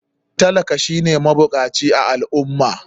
Talaka shine mabukaci a al ummah